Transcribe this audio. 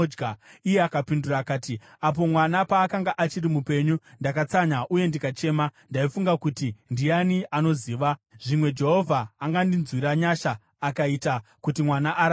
Iye akapindura akati, “Apo mwana paakanga achiri mupenyu, ndakatsanya uye ndikachema. Ndaifunga kuti, ‘Ndiani anoziva? Zvimwe Jehovha angandinzwira nyasha akaita kuti mwana ararame.’